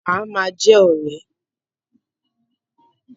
A máa jẹ́ ọ̀rẹ́.